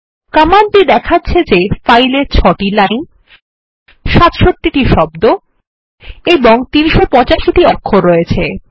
কমান্ডটি দেখাচ্ছে যে ফাইল এ ৬ টি লাইন ৬৭ টি শব্দ এবং ৩৮৫ টি অক্ষর আছে